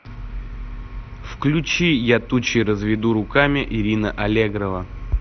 включи я тучи разведу руками ирина аллегрова